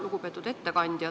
Lugupeetud ettekandja!